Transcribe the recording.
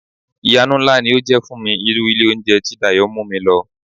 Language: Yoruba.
Ìyanu ńlá ni ó jẹ́ fún mi irú ilé oúnjẹ tí Dayọ̀ mú mi lọ.